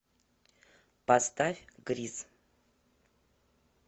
поставь гриз